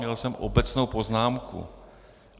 Měl jsem obecnou poznámku.